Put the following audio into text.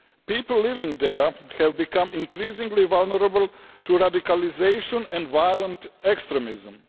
People living there have become increasingly vulnerable to radicalisation and violent extremism.